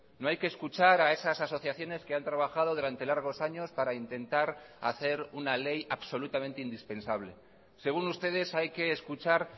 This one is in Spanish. no hay que escuchar a esas asociaciones que han trabajado durante largos años para intentar hacer una ley absolutamente indispensable según ustedes hay que escuchar